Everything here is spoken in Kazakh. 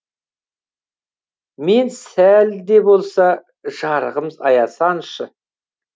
мен сәл де болса жарығым аясаншы